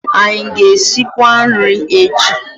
Anyị a ga-esikwa nri echi?